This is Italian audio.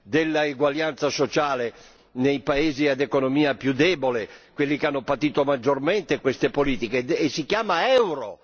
dell'eguaglianza sociale nei paesi ad economia più debole, quelli che hanno patito maggiormente queste politiche, che si chiama Euro.